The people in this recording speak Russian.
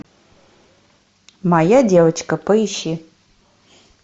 моя девочка поищи